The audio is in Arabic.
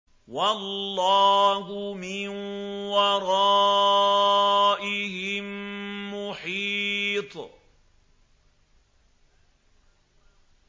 وَاللَّهُ مِن وَرَائِهِم مُّحِيطٌ